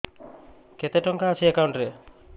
କେତେ ଟଙ୍କା ଅଛି ଏକାଉଣ୍ଟ୍ ରେ